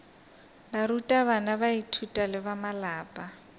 barutabana baithuti le ba malapa